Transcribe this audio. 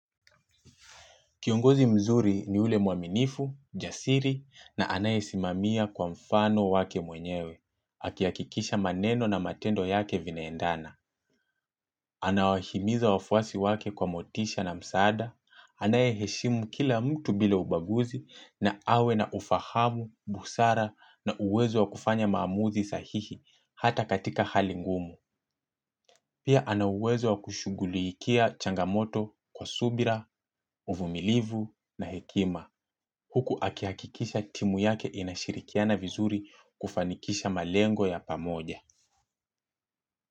Kiongozi mzuri ni ule muaminifu, jasiri na anaye simamia kwa mfano wake mwenyewe, akiyakikisha maneno na matendo yake vinaendana. Anawahimiza wafuasi wake kwa motisha na msaada, anaye heshimu kila mtu bila ubaguzi na awe na ufahamu, busara na uwezo wa kufanya mamuzi sahihi hata katika hali ngumu. Pia anauwezo wa kushugulikia changamoto kwa subira, uvumilivu na hekima. Huku akihakikisha timu yake inashirikiana vizuri kufanikisha malengo ya pamoja.